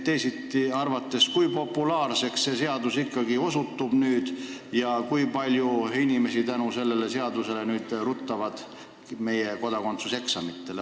Teisiti öeldes, kui populaarseks see seadus ikkagi osutub – kui paljud inimesed nüüd tänu sellele seadusele meie kodakondsuseksamitele ruttavad?